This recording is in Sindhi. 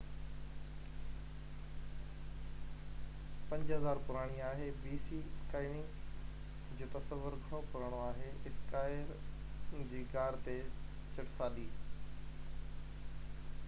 اسڪائينگ جو تصور گهڻو پراڻو آهي — اسڪائير جي غار تي چٽسالي 5000 bc پراڻي آهي